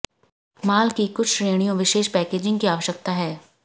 माल की कुछ श्रेणियों विशेष पैकेजिंग की आवश्यकता है